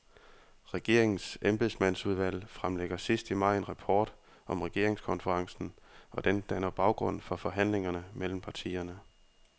Regeringens embedsmandsudvalg fremlægger sidst i maj en rapport om regeringskonferencen, og den danner baggrund for forhandlingerne mellem partierne.